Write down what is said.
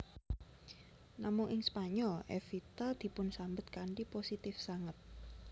Namung ing Spanyol Evita dipunsambet kanthi positif sanget